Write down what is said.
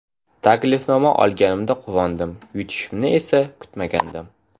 Taklifnoma olganimda quvondim, yutishimni esa kutmagandim.